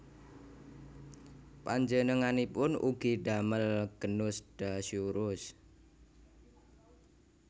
Panjenenganipun ugi ndamel genus Dasyurus